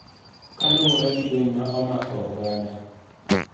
Kaluwore gi lwenyni ma omako oganda